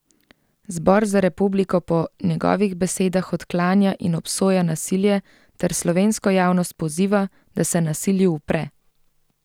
Zbor za republiko po njegovih besedah odklanja in obsoja nasilje ter slovensko javnost poziva, da se nasilju upre.